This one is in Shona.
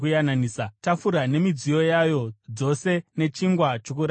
tafura nemidziyo yayo dzose nechingwa choKuratidza;